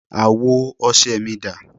Àwo ọṣẹ mi dà?